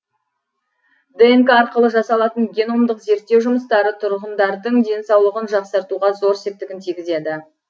днк арқылы жасалатын геномдық зерттеу жұмыстары тұрғындардың денсаулығын жақсартуға зор септігін тигізеді